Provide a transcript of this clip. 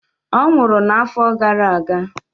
Ọ nwụrụ n'afọ gara aga